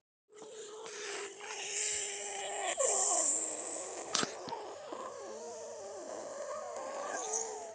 Fólk í mismunandi löndum fer auðvitað eftir mismunandi mælikvörðum á fegurð.